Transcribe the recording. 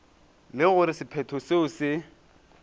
le gore sephetho seo se